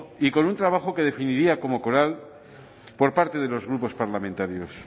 y con un trabajo que definiría como por parte de los grupos parlamentarios